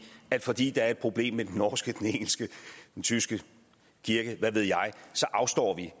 at fordi der er et problem med den norske den engelske den tyske kirke hvad ved jeg så afstår vi